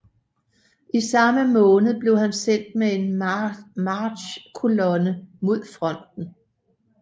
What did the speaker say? I samme måned blev han sendt med en marchkolonne mod fronten